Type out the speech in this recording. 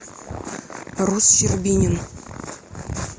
рус щербинин